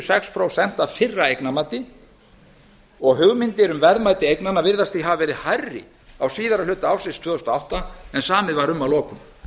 sex prósent af fyrra eignarmati og hugmyndir um verðmæti eignanna virðast því hafa verið hærri á síðari hluta ársins tvö þúsund og átta en samið var um að lokum